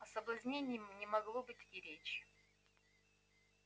о соблазнении не могло быть и речи